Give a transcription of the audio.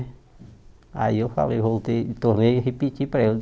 Aí eu falei, voltei, tornei e repeti para ele.